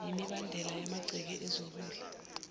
yimibandela yamagceke ezokudla